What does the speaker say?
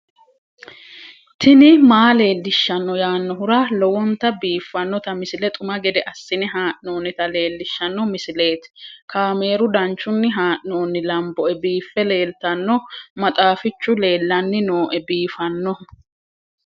tini maa leelishshanno yaannohura lowonta biiffanota misile xuma gede assine haa'noonnita leellishshanno misileeti kaameru danchunni haa'noonni lamboe biiffe leeeltanno maxxafichu leellanni nooe biifannohu